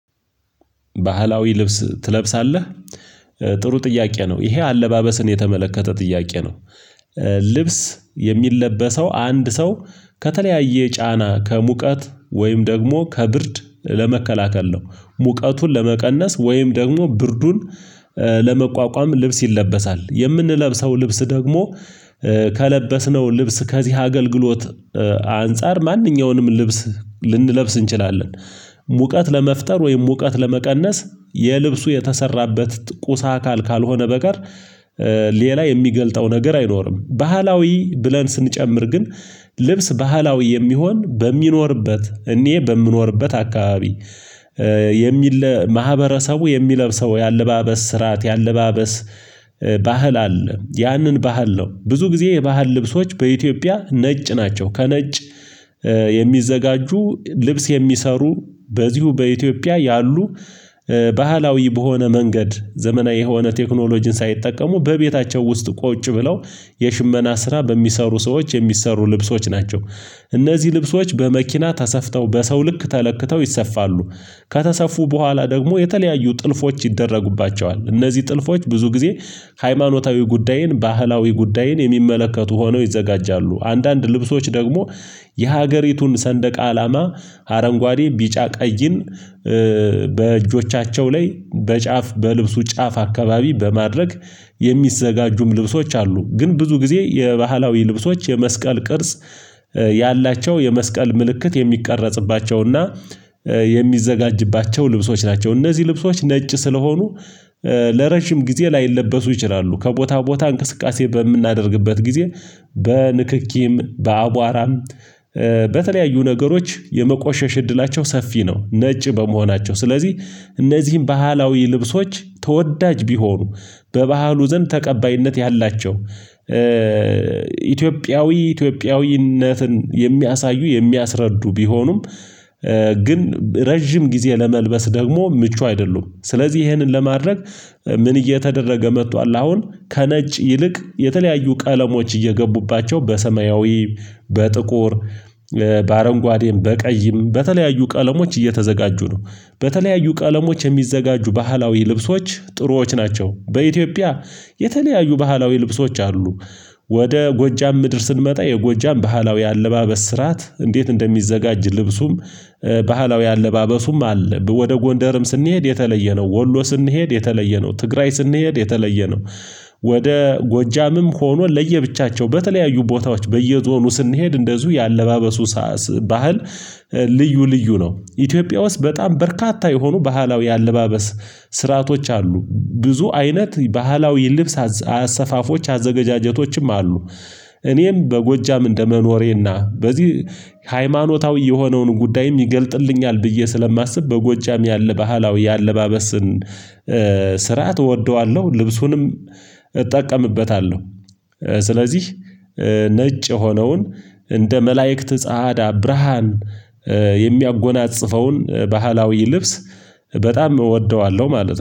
ባህላዊ ልብስ ትለብሳለህ ጥሩ ጥያቄ ነው ይሄ አለባበስን የተመለከተ ጥያቄ ነው? ልብስ የሚለበሰው አንድ ሰው ከተለያየ ጫና ከሙቀት ወይም ደግሞ ከብርድ ለመከላከል ነው። ሙቀቱን ለመቀነስ ወይም ደግሞ ብርዱን ለመቋቋም ልብስ ይለበሳል የምንለብሰው ልብስ ደግሞ ከለበስነው ልብስ ከዚህ አገልግሎት አንፃር ማንኛውንም ልብስ ልንለብስ እንችላለን ሙቀት ለመፍጠር ወይም ሙቀት ለመቀነስ የልብሱ የተሰራበት ቁሳ አካል ካልሆነ በቀር ሌላ የሚገልጠው ነገር አይኖርም። ባህላዊ ብለን ስንጨምር ግን ልብስ ባህላዊ የሚሆን በሚኖርበት እኔ በምኖርበት አካባቢ የሚል ማህበረሰቡ የሚለብሰው የአለባበስ ስርዓት የአለባበስ ባህል አለ። ያንን ባህል ነው ብዙ ጊዜ የባህል ልብሶች በኢትዮጵያ ነጭ ናቸው። ከነጭ የሚዘጋጁ ልብስ የሚሰሩ በዚሁ በኢትዮጵያ ያሉ ባህላዊ በሆነ መንገድ ዘመናዊ የሆነ ቴክኖሎጂን ሳይጠቀሙ በቤታቸው ውስጥ ቁጭ ብለው የሽመና ስራ በሚሰሩ ሰዎች የሚሰሩ ልብሶች ናቸው። እነዚህ ልብሶች በመኪና ተሰፍተው በሰው ልክ ተለክተው ይሰፋሉ ከተሰፉ በኋላ ደግሞ የተለያዩ ጥልፎች ይደረጉባቸዋል እነዚህ ጥልፎች ብዙ ጊዜ ሃይማኖታዊ ጉዳይን ባህላዊ ጉዳይን የሚመለከቱ ሆነው ይዘጋጃሉ አንዳንድ ልብሶች ደግሞ የሀገሪቱን ሰንደቅ አላማ አረንጓዴ ቢጫ ቀይን በእጆቻቸው ላይ በጫፍ በልብሱ ጫፍ አካባቢ በማድረግ የሚዘጋጁም ልብሶች አሉ። ግን ብዙ ጊዜ የባህላዊ ልብሶች የመስቀል ቅርጽ ያላቸው የመስቀል ምልክት የሚቀረጽባቸውና የሚዘጋጅባቸው ልብሶች ናቸው እነዚህ ልብሶች ነጭ ስለሆኑ ለረዥም ጊዜ ላይለበሱ ይችላሉ ከቦታ ቦታ እንቅስቃሴ በምናደርግበት ጊዜ በንክኪም በአቧራም በተለያዩ ነገሮች የመቆሸሽ እድላቸው ሰፊ ነው። ነጭ በመሆናቸው ስለዚህ እነዚህን ባህላዊ ልብሶች ተወዳጅ ቢሆኑ በባህሉ ዘንድ ተቀባይነት ያላቸው ኢትዮጵያዊ ኢትዮጵያዊነትን የሚያሳዩ የሚያስረዱ ቢሆኑም ግን ረጅም ጊዜ ለመልበስ ደግሞ ምቹ አይደሉም። ስለዚህ ይሄንን ለማድረግ ምን እየተደረገ መጥቷል አሁን ከነጭ ይልቅ የተለያዩ ቀለሞች እየገቡባቸው በሰማያዊ በጥቁር በአረንጓዴም በቀይም በተለያዩ ቀለሞች እየተዘጋጁ ነው። በተለያዩ ቀለሞች የሚዘጋጁ ባህላዊ ልብሶች ጥሩዎች ናቸው በኢትዮጵያ የተለያዩ ባህላዊ ልብሶች አሉ። ወደ ጎጃም ምድር ስንመጣ የጎጃም ባህላዊ አለባበስ ስራት እንዴት እንደሚዘጋጅ? ልብሱም ባህላዊ አለባበሱም አለ። ወደ ጎንደርም ስንሄድ የተለየ ነው። ወሎ ስንሄድ የተለየ ነው። ትግራይ ስንሄድ የተለየ ነው። ወደ ጎጃምም ሆኖ ለየብቻቸው በተለያዩ ቦታዎች በየዞኑ ስንሄድ እንደዚሁ የአለባበሱ ሳስ ባህል ልዩ ልዩ ነው። ኢትዮጵያ ውስጥ በጣም በርካታ የሆኑ ባህላዊ አለባበስ ስርዓቶች አሉ። ብዙ አይነት ባህላዊ ልብስ አሰፋፎች አዘገጃጀቶችም አሉ። እኔም በጎጃም እንደመኖሬና በዚህ ሃይማኖታዊ የሆነውን ጉዳይም ይገልጥልኛል ብዬ ስለማስብ በጎጃም ያለ ባህላዊ የአለባበስን ስርዓት እወደዋለሁ። ልብሱንም እጠቀምበታለሁ። ስለዚህ ነጭ የሆነውን እንደ መላእክት ጻአዳ ብርሃን የሚያጎናጽፈውን ባህላዊ ልብስ በጣም እወደዋለሁ ማለት ነው